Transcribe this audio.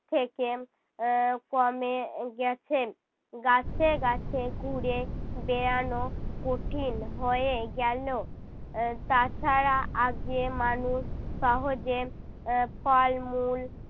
থেকে আহ কমে গেছে। গাছে গাছে ঘুরে বেড়ানো কঠিন হয়ে গেলো। আহ তাছাড়া আগে মানুষ সহজে এর ফলমূল